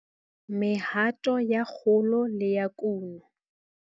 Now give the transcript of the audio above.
1- Mehato ya kgolo le ya kuno.